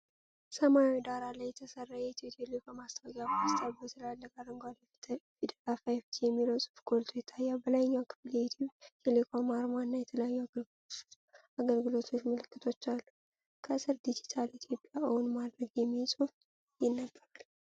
ሰማያዊ ዳራ ላይ የተሰራ የኢትዮ ቴሌኮም የማስተዋወቂያ ፖስተር። በትልልቅ አረንጓዴ ፊደላት “5ጂ” የሚለው ጽሑፍ ጎልቶ ይታያል። በላይኛው ክፍል የኢትዮ ቴሌኮም አርማ እና የተለያዩ የአገልግሎት ምልክቶች አሉ። ከሥር "ዲጂታል ኢትዮጵያን እውን ማድረግ" የሚል ጽሑፍ ይነበባል።